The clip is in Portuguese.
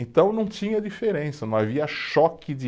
Então não tinha diferença, não havia choque de